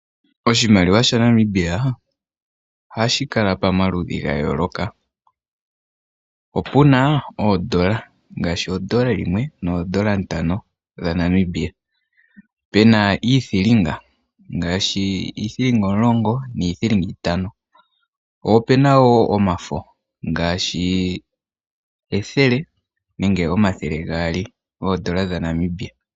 Oshimaliwa shaNamibia ohashi kala pamaludhi ga yooloka. Opu na oondola, ngaashi ondola yimwe noondola ntano dhaNamibia, opu na wo iithinga ngaashi iithinga omulongo niithilinga itano. Opu na wo omafo ngaashi ethele nenge omathele gaali goondola dhaNamibia.